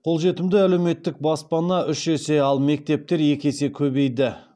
қолжетімді әлеуметтік баспана үш есе ал мектептер екі есе көбейді